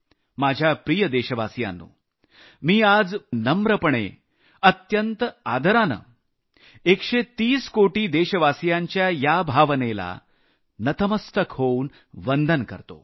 माझ्या प्रिय देशवासियांनो मी आज पूर्ण नम्र होऊन अत्यंत आदरानं 130 कोटी देशवासियांच्या या भावनेला नतमस्तक होऊ वंदन करतो